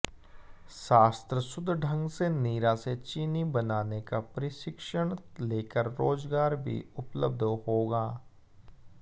शास्त्र शुद्ध ढंग से नीरा से चीनी बनाने का प्रशिक्षण लेकर रोजगार भी उपलब्ध होगा